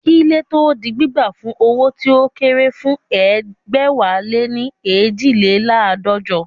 Kí ilé tó di gbígbà fún owó tí ó kéré fún egbẹ̀wáléní eejileládọ́jọ